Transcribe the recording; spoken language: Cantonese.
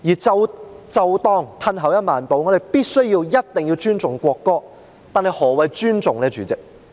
即使退後一萬步，若我們必須尊重國歌，但何謂尊重？